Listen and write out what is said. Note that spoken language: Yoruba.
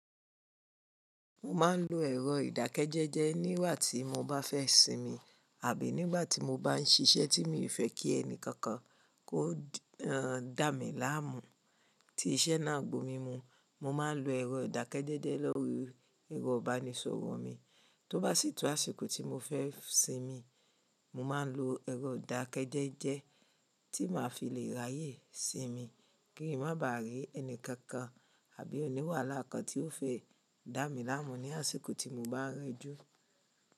Mo máa ń lo ẹ̀rọ ìdákẹ́jẹ́jẹ́ nígbà tí mo bá fẹ́ sinmi àbí nígbà tí mo bá ń ṣiṣẹ́ tí mi fẹ́ kí ẹni kankan kó dà mí láàmú. Tí iṣẹ́ náà gbò mí mu, mo máa ń lo ẹ̀rọ ìdákẹ́jẹ́jẹ́ lórí ẹ̀rọ ìbánisọ̀rọ̀ mi. Tó bá sì tún àsìkò tí mo fẹ́ sinmi, mo máa ń lo ẹ̀rọ ìdákẹ́jẹ́jẹ́ tí màá fi le ráyè sinmi kí ń má bà rí ẹni kankan àbí òní wàhálà kan tí ó fẹ́ dà mí láàmú ní àsìkò tí mo bá rẹjú.